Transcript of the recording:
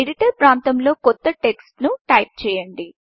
editor ప్రాంతంలో కొంత text ను టైప్ చేయండి